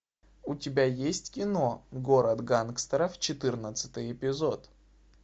у тебя есть кино город гангстеров четырнадцатый эпизод